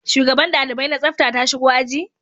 Shugaban dalibai na tsafta ta shigo a ji?